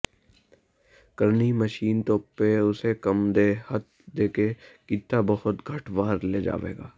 ਕਰਨੀ ਮਸ਼ੀਨ ਤੋਪੇ ਉਸੇ ਕੰਮ ਦੇ ਹੱਥ ਦੇ ਕੇ ਕੀਤਾ ਬਹੁਤ ਘੱਟ ਵਾਰ ਲੈ ਜਾਵੇਗਾ